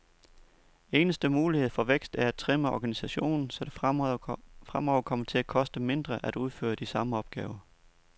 Eneste mulighed for vækst er at trimme organisationen, så det fremover kommer til at koste mindre at udføre de samme opgaver.